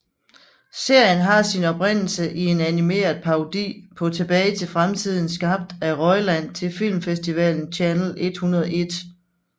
Serien har sin oprindelse i en animeret parodi på Tilbage til fremtiden skabt af Roiland til filmfestivalen Channel 101